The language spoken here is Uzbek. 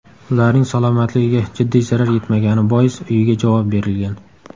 Ularning salomatligiga jiddiy zarar yetmagani bois uyiga javob berilgan.